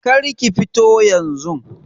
Kar ki fito yanzun.